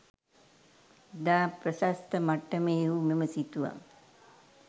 ඉතා ප්‍රශස්ත මට්ටමේ වූ මෙම සිතුවම්